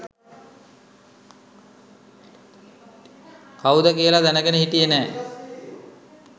කවුද කියල දැනගෙන හිටියෙ නෑ